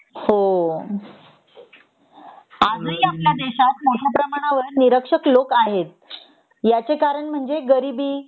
हो आज ही आपल्या देशात मोठ्या प्रमाणावर निरक्षर लोक आहेत याचे कारण म्हणजे गरीबी